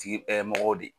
Tigi ɛ mɔgɔw de